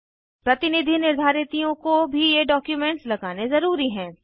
प्रतिनिधि निर्धारितियों को भी ये डॉक्युमेंट्स लगाने ज़रूरी हैं